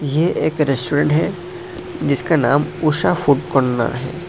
ये एक रेस्टोरेंट है जिसका नाम उषा फूड कॉर्नर --